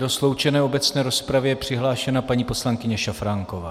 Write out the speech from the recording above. Do sloučené obecné rozpravy je přihlášena paní poslankyně Šafránková.